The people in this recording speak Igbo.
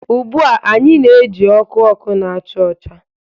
Ugbu a, anyị na-eji ọkụ ọkụ na-acha ọcha